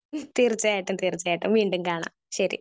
Speaker 1 തീർച്ചയായിട്ടും തീർച്ചയായിട്ടും. വീണ്ടും കാണാം. ശെരി